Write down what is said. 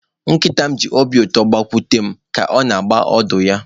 Nkịta m ji obi ụtọ gbakute m, ka ọ na-agba ọdụ ya.